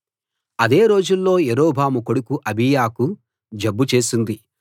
అదే రోజుల్లో యరొబాము కొడుకు అబీయాకు జబ్బు చేసింది